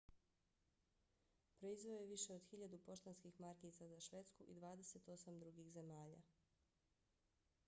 proizveo je više od 1.000 poštanskih markica za švedsku i 28 drugih zemalja